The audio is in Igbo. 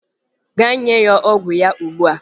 Gaa nye ya ogwu ogwu ya ugbua!